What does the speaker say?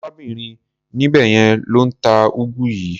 Arábìnrin níbẹ̀ yẹn ló ń ta úgú yìí.